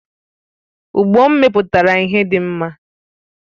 Ụgbo m mepụtara ihe dị mma